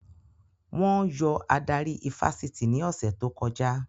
Wọ́n yọ adarí ifásitì ní ọ̀sẹ̀ tó kọjá